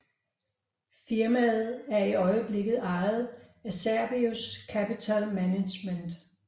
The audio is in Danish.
Firmaet er i øjeblikket ejet af Cerberus Capital Management